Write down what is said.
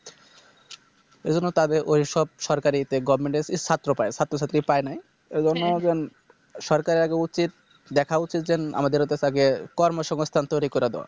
এজন্য তাদের ঐসব সরকারিতে Government এর ছাত্র পায় ছাত্র ছাত্রী পায় নাই এজন্য সরকারের আগে উচিত দেখা উচিত যে আমাদের ওতে আগে কর্মসংস্থান তৈরী করা দরকার